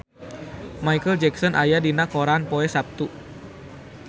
Micheal Jackson aya dina koran poe Saptu